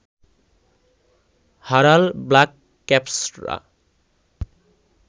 হারাল black ক্যাপসরা